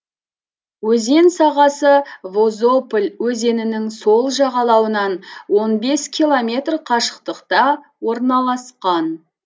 өзен сағасы возополь өзенінің сол жағалауынан он бес километр қашықтықта орналасқан